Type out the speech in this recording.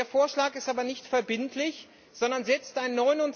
Der Vorschlag ist aber nicht verbindlich, sondern setzt ein